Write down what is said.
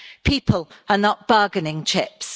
People are not bargaining chips.